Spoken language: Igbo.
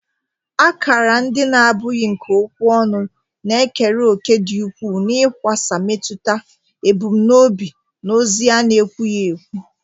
Akara ndị na-abụghị nke okwu ọnụ na-ekere òkè dị ukwuu n'ịkwasa mmetụta, ebumnobi, na ozi a na-ekwughị ekwu